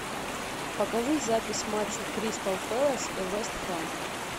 покажи запись матча кристал пэлас и вест хэм